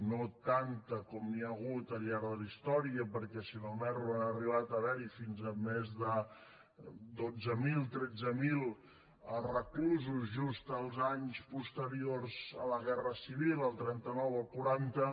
no tanta com hi hagut al llarg de la història perquè si no m’erro han arribat a haver hi fins a més de dotze mil tretze mil reclusos just els anys posteriors a la guerra civil el trenta nou el quaranta